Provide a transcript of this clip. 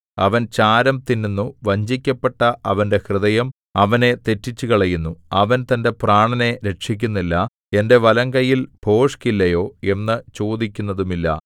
അവൻ ചാരം തിന്നുന്നു വഞ്ചിക്കപ്പെട്ട അവന്റെ ഹൃദയം അവനെ തെറ്റിച്ചുകളയുന്നു അവൻ തന്റെ പ്രാണനെ രക്ഷിക്കുന്നില്ല എന്റെ വലംകൈയിൽ ഭോഷ്കില്ലയോ എന്നു ചോദിക്കുന്നതുമില്ല